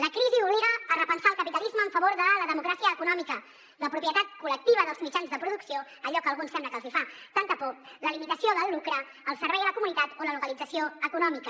la crisi obliga a repensar el capitalisme en favor de la democràcia econòmica la propietat col·lectiva dels mitjans de producció allò que a alguns sembla que els fa tanta por la limitació del lucre el servei a la comunitat o la localització econòmica